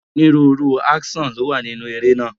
Onírúurú áńṣọ̀n ni ó wà nínúu eré náà.